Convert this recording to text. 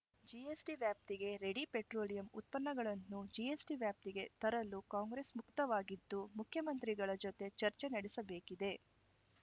GST ವ್ಯಾಪ್ತಿಗೆ ready petroleum ಉತ್ಪನ್ನಗಳನ್ನು ಜಿಎಸ್ಟಿವ್ಯಾಪ್ತಿಗೆ ತರಲು ಕಾಂಗ್ರೆಸ್‌ ಮುಕ್ತವಾಗಿದ್ದು ಮುಖ್ಯಮಂತ್ರಿಗಳ ಜೊತೆ ಚರ್ಚೆ ನಡೆಸಬೇಕಿದೆ